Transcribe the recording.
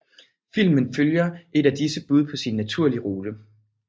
Filmen følger et af disse bude på sin natlige rute